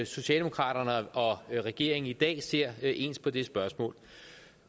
socialdemokraterne og regeringen i dag ser ens på det spørgsmål